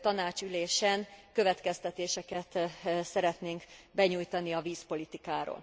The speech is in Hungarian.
tanácsi ülésen következtetéseket szeretnénk benyújtani a vízpolitikáról.